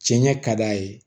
Cɛn ɲɛ ka d'a ye